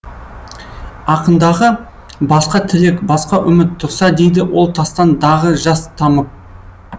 ақындағы басқа тілек басқа үміт тұрса дейді ол тастан дағы жас тамып